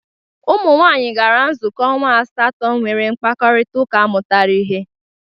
Umụnwaanyị gara nzụkọ ọnwa asatọ nwere mkpakọrịtaụka mụtara ihe.